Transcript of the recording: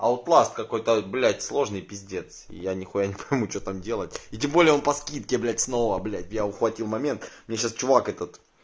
айтласт какой-то блять сложный пиздец и я нихуя не пойму что там делать и тем более он по скидке блять снова блять я ухватил момент мне сейчас чувак этот